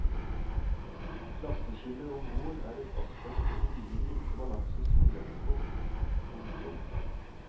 Klasseskillet om bord er et aspekt det tidligere ikke var lagt så stor vekt på. punktum